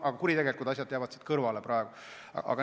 Aga kuritegelikud asjad jäävad siit praegu kõrvale.